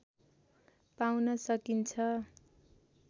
पाउन सकिन्छ